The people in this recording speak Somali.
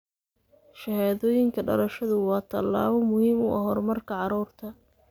Shahaadooyinka dhalashadu waa tallaabo muhiim u ah horumarka carruurta.